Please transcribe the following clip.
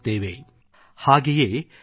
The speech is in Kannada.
United we will scale new heights